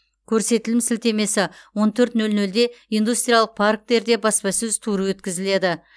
көрсетілім сілтемесі он төрт нөл нөлде индустриялық парктерде баспасөз туры өткізіледі